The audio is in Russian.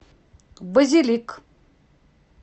базилик